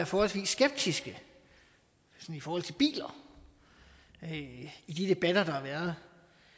forholdsvis skeptiske i forhold til biler i de debatter der har været